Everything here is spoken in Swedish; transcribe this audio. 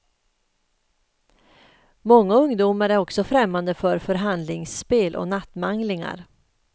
Många ungdomar är också främmande för förhandlingsspel och nattmanglingar.